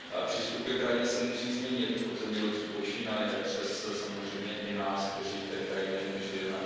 Přístup ke krajině se musí změnit od zemědělců počínaje přes samozřejmě i nás, kteří v té krajině žijeme.